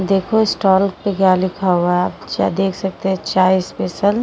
देखो स्टॉल पर क्या लिखा हुआ है। आप देख सकते हैं चाय स्पेशल --